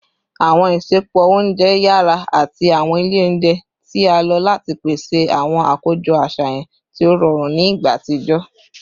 Awọn isẹpo ounjẹ yara ati awọn ile ounjẹ ti a lo lati pese awọn akojọ aṣayan ti o rọrun ni igba atijọ